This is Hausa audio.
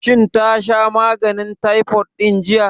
Shin ta sha maganin taifot ɗin jiya?